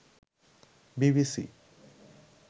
BBC